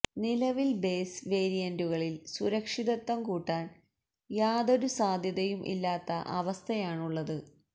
നിലവിൽ ബേസ് വേരിയന്റുകളിൽ സുരക്ഷിതത്വം കൂട്ടാൻ യാതൊരു സാധ്യതയും ഇല്ലാത്ത അവസ്ഥയാണുള്ളത്